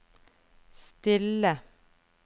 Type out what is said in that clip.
stille